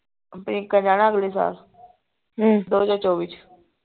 ਪ੍ਰਿਅੰਕਾ ਜਾਣਾ ਅਗਲੇ ਸਾਲ ਦੋ ਹਜਾਰ ਚੋਵੀ ਚ